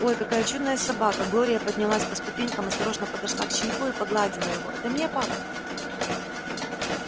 ой какая чудная собака глория поднялась по ступенькам осторожно подошла к щенку и погладила его это мне пап